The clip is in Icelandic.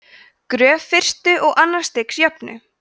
gröf fyrsta og annars stigs jöfnu